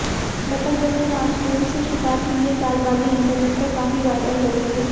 बत्तख जैसे मासूम से शिकार की ये चालबाजी इंटरनेट पर काफी वायरल हो रही है